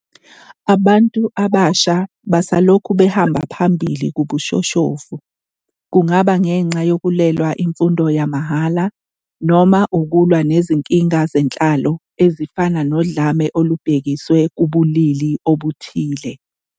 Abantu abasha basalokhu behamba phambili kubushoshovu, kungaba ngenxa yokulwela imfundo yamahhala noma ukulwa nezinkinga zenhlalo ezifana nodlame olubhekiswe kubulili obuthile.